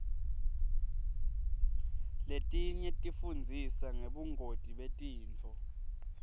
letinye tifundzisa ngebungoti betifo